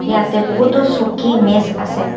ইয়াতে বহুতো চকী মেজ আছে।